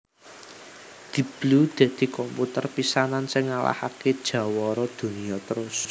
Deep Blue dadi komputer pisanan sing ngalahaké jawara donya terus